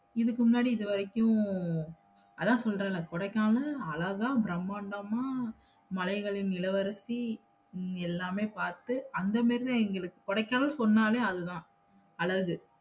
இதுக்கு முன்னாடி இதுவரைக்கும் அத சொல்றேன்ல கொடைக்கானல் அழகா பிரம்மாண்டம்மா மலைகளின் இளவரசி எல்லாமே பாத்து அந்தமேரிதா எங்களுக்கு கொடைக்கானல் சொன்னவே அதுதா அழகு